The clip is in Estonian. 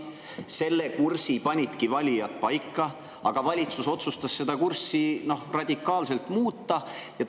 Selle kursi panidki valijad paika, aga valitsus otsustas seda kurssi radikaalselt muuta.